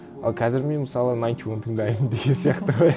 ал қазір мен мысалы найнти уан тыңдаймын деген сияқты ғой